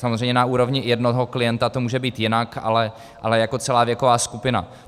Samozřejmě na úrovni jednoho klienta to může být jinak, ale jako celá věková skupina.